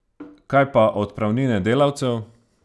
Kaj pa odpravnine delavcev?